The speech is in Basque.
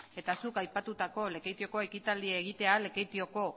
eta zuk aipatutako lekeitioko ekitaldia egitea lekeitioko